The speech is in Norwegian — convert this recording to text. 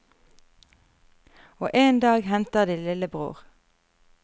Og en dag henter de lillebror.